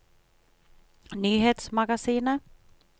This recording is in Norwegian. nyhetsmagasinet